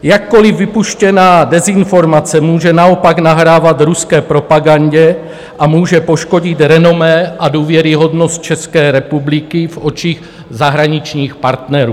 Jakkoliv vypuštěná dezinformace může naopak nahrávat ruské propagandě a může poškodit renomé a důvěryhodnost České republiky v očích zahraničních partnerů.